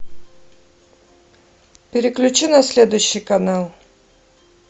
переключи на следующий канал